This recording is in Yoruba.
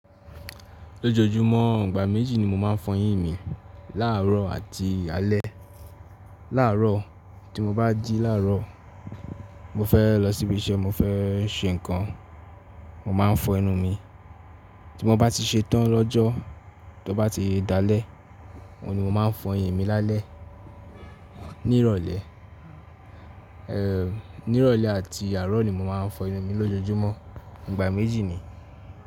Lójojúmọ́, ìgbà méjì ni mo máa ń fọyín mi. Láàárọ̀ àti alẹ́. Láàárọ̀, tí mo bá jí láàárọ̀, mo fẹ́ lọ síbí iṣẹ́, mo fẹ́ ṣe nǹkan, mo máa ń fọ ẹnu mi. Tí mo bá ti ṣe tán lọ́jọ́, tí ó bá ti dalẹ́, òun ni mo máa ń fọ ẹyin mi lálẹ́. Nírọ̀lẹ́, nírọ̀lẹ́ àti àárọ̀ ni mo máa ń fọ ẹnu mi lójojúmọ́. Ìgbà méjì ni.